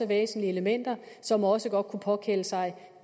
væsentlige elementer som også godt kunne påkalde sig